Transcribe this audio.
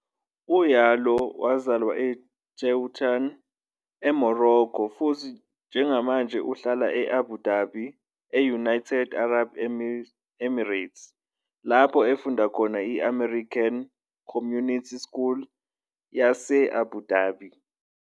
UYalouh wazalelwa eTetuan, eMorocco futhi njengamanje uhlala e-Abu Dhabi, e-United Arab Emirates lapho efunda khona I- American Community School yase-Abu Dhabi.